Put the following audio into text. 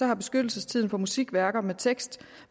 har beskyttelsestiden for musikværker med tekst